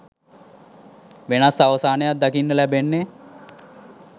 වෙනස් අවසානයක් දකින්න ලැබෙන්නේ.